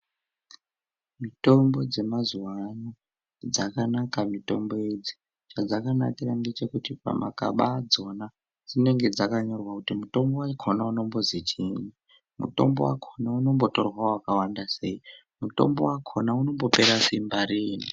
Mitombo dzemazuva anaya dzakanaka mitombo idzi. Padzakanakira ngepekuti pamagaba adzona dzinenge dzakanyorwa kuti mutombo wakona unombozi chini uye unombotorwa wakawanda seyi uye mutombo wakona unombopera Simba riini.